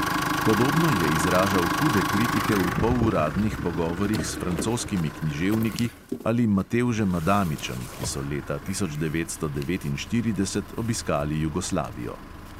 Podobno je izražal hude kritike v poluradnih pogovorih s francoskimi književniki ali matevžem adamičem, ki so leta tisoč devetsto devetinštirideset obiskali jugoslavijo.